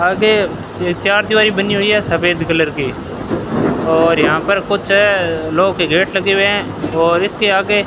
आगे ये चार दिवारी बनी हुई है सफेद कलर की और यहां पर कुछ लोह के गेट लगे हुये हैं और इसके आगे --